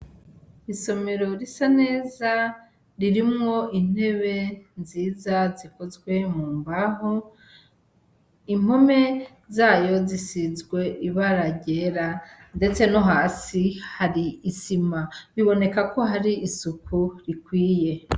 Isomero risa neza ririmwo intebe nziza zikozwe mu mbaho impome zayo zisizwe ibara ryera ndetse no hasi hari isima biboneka ko hari isuku rikwiye.